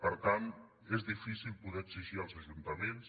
per tant és difícil poder exigir als ajuntaments